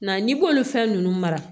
Nka n'i b'olu fɛn ninnu mara